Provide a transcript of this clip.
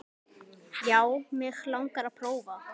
Já, mig langar að prófa.